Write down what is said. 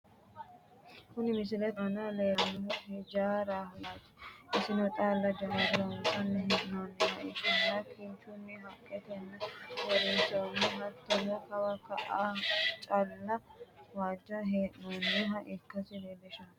kuni misilete aana leellannohu hijaaraho yaate, isino xaalla jammare loonsanni hee'noonniha ikkanna kinchunninna haqqetenni uurrinsoonniho, hattono kawa ka'a xaalla loonsanni hee'noonniha ikkasi leellishanno.